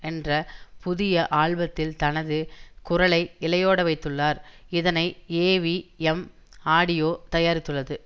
என்ற புதிய ஆல்பத்தில் தனது குரலை இழையோடவைத்துள்ளார் இதனை ஏவிஎம் ஆடியோ தயாரித்துள்ளது